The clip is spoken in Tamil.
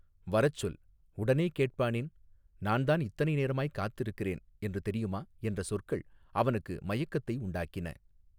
வரச் சொல் உடனே கேட்பானேன் நான் தான் இத்தனை நேரமாய்க் காத்திருக்கிறேன் என்று தெரியுமா என்ற சொற்கள் அவனுக்கு மயக்கத்தை உண்டாக்கின.